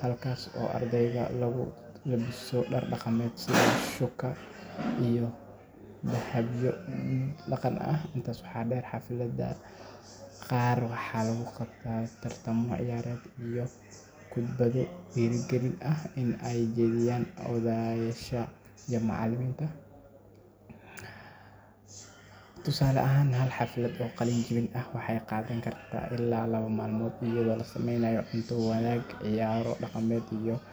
halkaas oo ardayga uu ku labisto dhar dhaqameed sida shÃºkÃ iyo dahabyo dhaqan ah. Intaa waxaa dheer, xafladaha qaar waxaa lagu qabtaa tartamo ciyaareed iyo khudbado dhiirrigelin ah oo ay jeediyaan odayaasha iyo macallimiinta. Tusaale ahaan, hal xaflad oo qalin jebin ah waxay qaadan kartaa ilaa laba maalmood, iyadoo la sameynayo cunto wadaag, ciyaaro dhaqameed.